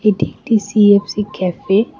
এটি একটি CFC cafe.